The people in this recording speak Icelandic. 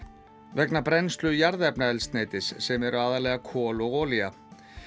vegna brennslu jarðefnaeldsneytis sem eru aðallega kol og olía